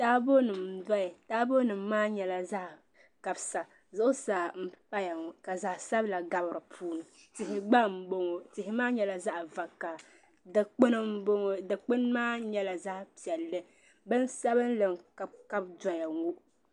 Taabo nim n doya taabo nim maa nyɛla zaɣ kabisa zuɣusaa n paya ŋo ka zaɣ sabila gabi dipuuni tihi gba n boŋɔ tihi maa nyɛla zaɣ vakaɣili dikpuni n boŋo dikpuni maa nyɛla zaɣ piɛlli bin sabinli n kabikabi doya ŋo